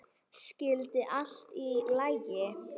Skyldi allt í lagi?